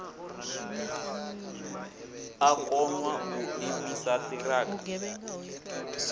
a konḓa u imisa ṱhirakha